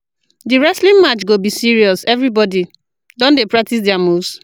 Di wrestling match match go be serious, everybodi don dey practice their moves.